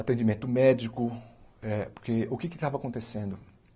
atendimento médico eh, porque o que é que estava acontecendo?